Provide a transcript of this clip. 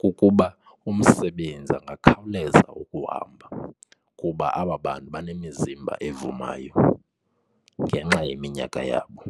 kukuba umsebenzi akhawuleze ukuhamba kuba aba bantu banemizimba evumayo ngenxa yeminyaka yabo.